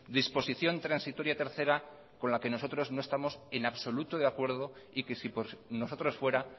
disposición transitoria tercera con la que nosotros no estamos en absoluto de acuerdo y que si por nosotros fuera